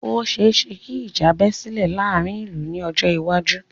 Ò ṣeẹ́ṣẹ kí ìjà bẹ́ sílè láàárín ìlú ní ọjọ́ iwájú.